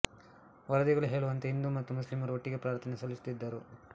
ವರದಿಗಳು ಹೇಳುವಂತೆ ಹಿಂದೂ ಮತ್ತು ಮುಸ್ಲಿಮರು ಒಟ್ಟಿಗೆ ಪ್ರಾರ್ಥನೆ ಸಲ್ಲಿಸುತ್ತಿದ್ದರು